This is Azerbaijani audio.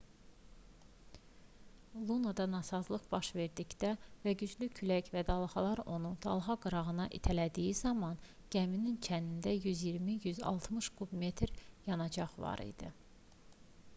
lunoda nasazlıq baş verdikdə və güclü külək və dalğalar onu dalğaqırana itələdiyi zaman gəminin çənində 120-160 kub metr yanacaq var idi